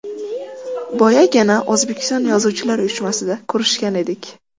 Boyagina, O‘zbekiston Yozuvchilar uyushmasida ko‘rishgan edik.